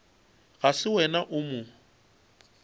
ga se wena o mo